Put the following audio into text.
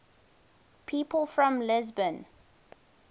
people from lisbon